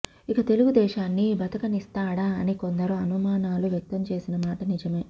ఇక తెలుగుదేశాన్ని బతకనిస్తాడా అని కొందరు అనుమానాలు వ్యక్తంచేసిన మాట నిజమే